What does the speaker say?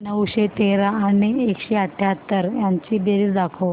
नऊशे तेरा आणि एकशे अठयाहत्तर यांची बेरीज दाखव